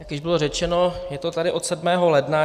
Jak již bylo řečeno, je to tady od 7. ledna.